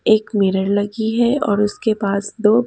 एक मिरर लगी है और उसके पास दो--